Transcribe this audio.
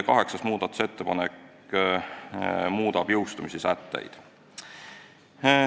Kaheksas muudatusettepanek muudab jõustumissätteid.